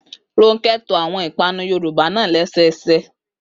Rónkẹ́ to àwọn ìpanu Yorùbá náà lẹ́sẹẹsẹ